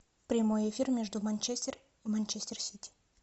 прямой эфир между манчестер и манчестер сити